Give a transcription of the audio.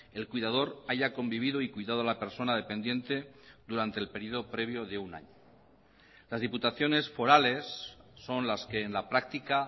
el cuidador haya convivido y cuidado la persona dependiente durante el periodo previo de un año las diputaciones forales son las que en la práctica